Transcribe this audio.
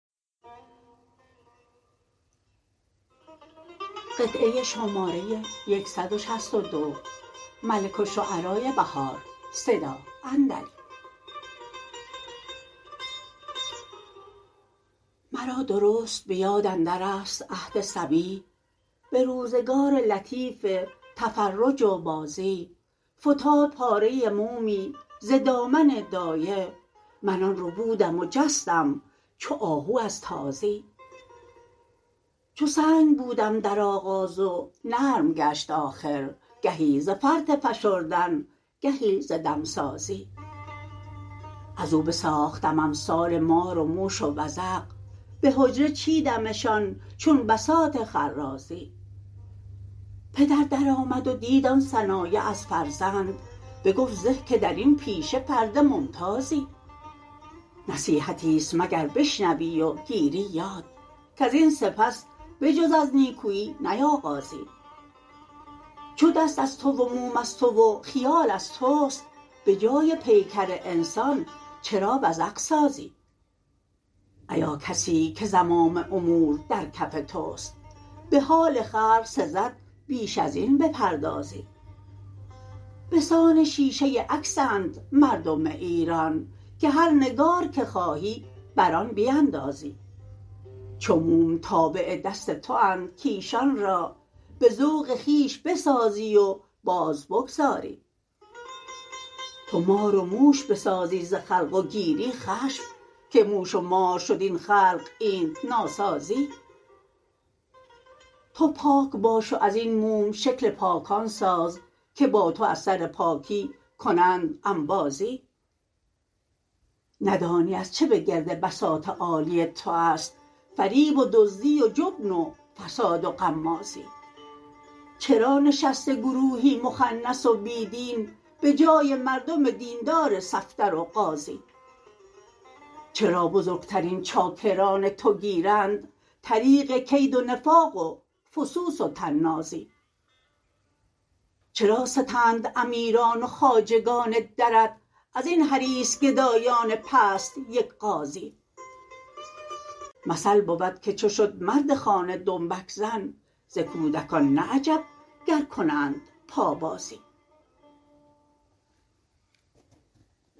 مرا درست به یاد اندرست عهد صبی به روزگار لطیف تفرج و بازی فتاد پاره مومی ز دامن دایه من آن ربودم و جستم چو آهو از تازی چو سنگ بودم درآغاز و نرم گشت آخر گهی ز فرط فشردن گهی ز دمسازی از او بساختم امثال مار و موش و وزغ به حجره چیدمشان چون بساط خرازی پدر درآمد و دید آن صنایع از فرزند بگفت زه که درین پیشه فرد ممتازی نصیحتی است مگر بشنوی وگیری یاد کازین سپس بجزاز نیکویی نیاغازی چو دست از تو و موم از تو و خیال از تست به جای پیکر انسان چرا وزغ سازی ایاکسی که زمام امور درکف تواست به حال خلق سزد بیش از این بپردازی بسان شیشه عکسند مردم ایران که هر نگارکه خواهی بر آن بیندازی چو موم تابع دست تواند کایشان را به ذوق خویش بسازی و باز بگذاری تو مار و موش بسازی زخلق وگیری خشم که موش و مار شد این خلق اینت ناسازی تو پاکباش و ازبن موم شکل پاکان ساز که با تو از سر پاکی کنند انبازی ندانی از چه به گرد بساط عالی تواست فریب و دزدی و جبن و فساد و غمازی چرا نشسته گروهی مخنث و بیدین به جای مردم دیندار صفدر و غازی چرا بزرگ ترین چاکران توگیرند طریق کید و نفاق و فسوس و طنازی چرا ستند امیران و خواجگان درت ازین حریص گدایان پست یک غازی مثل بودکه چو شد مرد خانه دنبک زن زکودکان نه عجب گرکنند پابازی